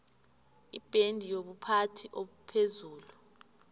ibhendi yobuphathi obuphezulu